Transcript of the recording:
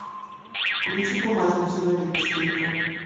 включи бумажный человек четыре ка